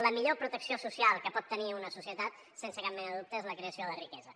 la millor protecció social que pot tenir una societat sense cap mena de dubte és la creació de riquesa